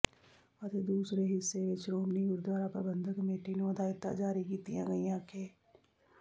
ਅਤੇ ਦੂਸਰੇ ਹਿੱਸੇ ਵਿੱਚ ਸ਼੍ਰੋਮਣੀ ਗੁਰਦੁਆਰਾ ਪ੍ਰਬੰਧਕ ਕਮੇਟੀ ਨੂੰ ਹਦਾਇਤਾਂ ਜਾਰੀ ਕੀਤੀਆਂ ਗਈਆਂ ਕਿ